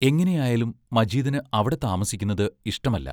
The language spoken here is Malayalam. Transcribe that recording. എങ്ങനെ ആയാലും മജീദിന് അവിടെ താമസിക്കുന്നത് ഇഷ്ടമല്ല.